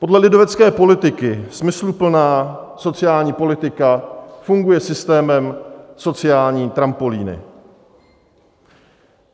Podle lidovecké politiky smysluplná, sociální politika funguje systémem sociální trampolíny.